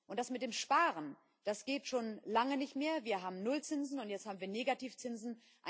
Das mit dem Sparen, das geht schon lange nicht mehr. Wir haben Nullzinsen, und jetzt haben wir Negativzinsen.